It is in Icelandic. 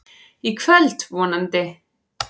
Í kvöld, vonandi.